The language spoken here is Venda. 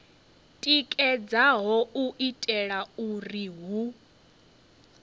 tikedzaho u itela uri hu